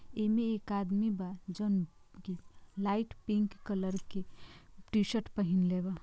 ईमे एक आदमी बा जोन लाइट पिक कलर की टी-शर्ट पेहिनले बा।